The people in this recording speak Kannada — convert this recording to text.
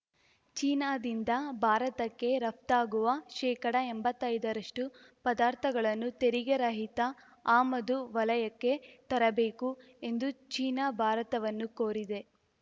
ಚೀನಾದಿಂದ ಭಾರತಕ್ಕೆ ರಫ್ತಾಗುವ ಶೇಕಡ ಎಂಬತ್ತೈದರಷ್ಟು ಪದಾರ್ಥಗಳನ್ನು ತೆರಿಗೆರಹಿತ ಆಮದು ವಲಯಕ್ಕೆ ತರಬೇಕು ಎಂದು ಚೀನಾ ಭಾರತವನ್ನು ಕೋರಿದೆ